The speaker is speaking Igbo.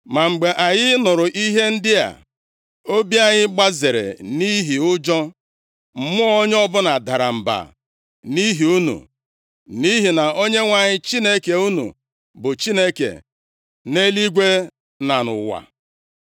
Ma mgbe anyị nụrụ ihe ndị a, obi anyị gbazere nʼihi ụjọ, mmụọ onye ọbụla dara mba nʼihi unu, nʼihi na Onyenwe anyị Chineke unu bụ Chineke nʼeluigwe na nʼụwa.